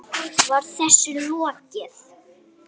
Var þessu lokið?